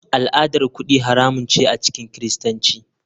Al'adar kudi haramun ce a cikin kiristanci.